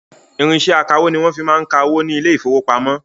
Irinṣẹ akawó ní wọn fi máa ń ka owó ní ile-ìfowópamó